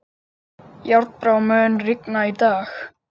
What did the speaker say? Járnbrá, mun rigna í dag?